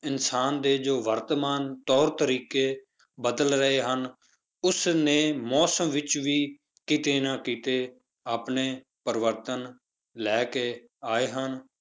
ਇਨਸਾਨ ਦੇ ਜੋ ਵਰਤਮਾਨ ਤੌਰ ਤਰੀਕੇ ਬਦਲ ਰਹੇ ਹਨ, ਉਸ ਨੇ ਮੌਸਮ ਵਿੱਚ ਵੀ ਕਿਤੇ ਨਾ ਕਿਤੇ ਆਪਣੇ ਪਰਿਵਰਤਨ ਲੈ ਕੇ ਆਏ ਹਨ,